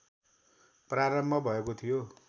प्रारम्भ भएको थियो